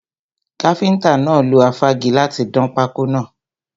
Káfíntà náà lo afági láti dán pákọ́ náà.